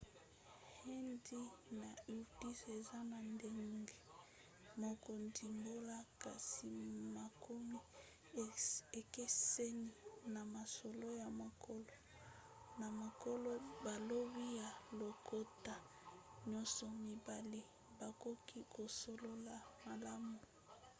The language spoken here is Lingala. hindi na urdu eza na ndenge moko ndimbola kasi makomi ekeseni; na masolo ya mokolo na mokolo balobi ya lokota nyonso mibale bakoki kosolola malamu